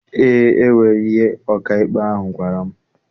Eé, enwere ihe ọkaikpe ahụ gwara m.